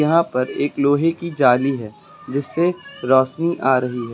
यहां पर एक लोहे की जाली है जिससे रोशनी आ रही है।